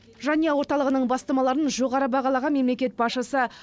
жанұя орталығының бастамаларын жоғары бағалаған мемлекет басшысы